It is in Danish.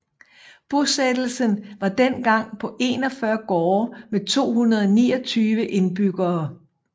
Bosættelsen var dengang på 41 gårde med 229 indbyggere